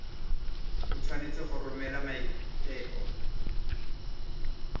o tshwanetse go romela maiteko